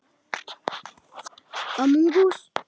Gónum upp í loftið.